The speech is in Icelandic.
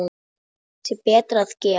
Þá sé betra að gefa.